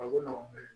A ko n ma